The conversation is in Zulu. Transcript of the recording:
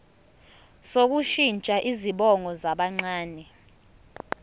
sokushintsha izibongo zabancane